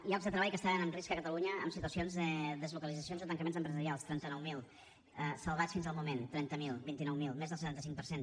llocs de treball que estaven en risc a catalunya en situacions de deslocalitzacions o tancaments empresarials trenta nou mil salvats fins al moment trenta miler vint nou mil més del setanta cinc per cent